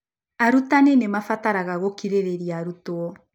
Arutani nĩ mabataraga gũkirĩrĩria arutwo.